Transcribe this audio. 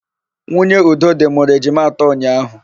Nwunye Udodị mụrụ ejima atọ ụnyaahụ.